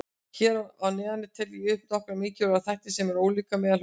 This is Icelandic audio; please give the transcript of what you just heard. Hér að neðan tel ég upp nokkra mikilvæga þætti sem eru ólíkir meðal hópanna.